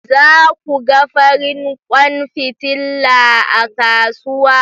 Za ku ga farin kwan fitila a kasuwa